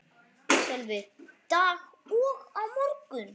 Sölvi: Dag og á morgun?